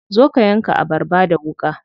Zo ka yanka abarba da wuƙa.